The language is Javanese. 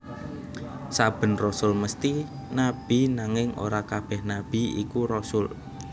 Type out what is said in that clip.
Saben rasul mesthi nabi nanging ora kabèh nabi iku rasul